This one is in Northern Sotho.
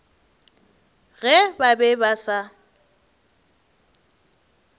ge ba be ba sa